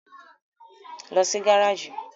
Lọ sí gáràjì!